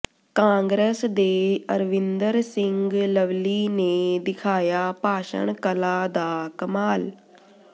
ਕਾਂਗਰਸ ਦੇ ਅਰਵਿੰਦਰ ਸਿੰਘ ਲਵਲੀ ਨੇ ਦਿਖਾਇਆ ਭਾਸ਼ਣ ਕਲਾ ਦਾ ਕਮਾਲ